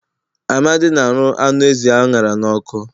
Amadi na arụ anụ ezi a ṅara n'ọkụ